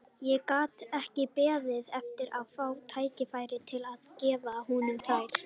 Ég gat ekki beðið eftir að fá tækifæri til að gefa honum þær.